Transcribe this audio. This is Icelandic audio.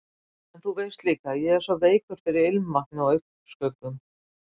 En þú veist líka að ég er svo veikur fyrir ilmvatni og augnskuggum.